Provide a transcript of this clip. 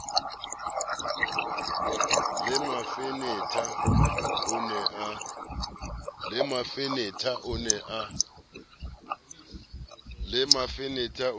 le mafenetha o ne a